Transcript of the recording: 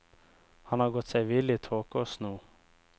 Han har gått seg vill i tåke og sno.